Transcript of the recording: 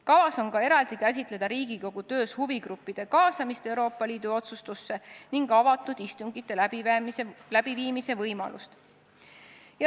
Kavas on eraldi käsitleda Riigikogu töös huvigruppide kaasamist Euroopa Liidu otsustuste tegemisse ning avatud istungite läbiviimise võimalust.